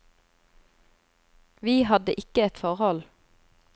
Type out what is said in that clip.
Vi hadde ikke et forhold.